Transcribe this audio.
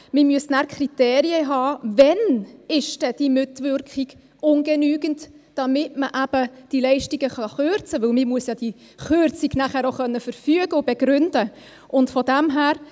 Man müsste Kriterien haben, wann die Mitwirkung ungenügend ist, damit man die Leistungen eben kürzen kann, weil man die Kürzung nachher auch verfügen und begründen können muss.